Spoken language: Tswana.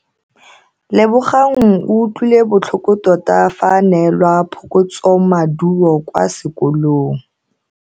Lebogang o utlwile botlhoko tota fa a neelwa phokotsomaduo kwa sekolong.